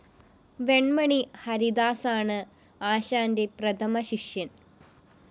വെണ്മണി ഹരിദാസാണ് ആശാന്റെ പ്രഥമശിഷ്യന്‍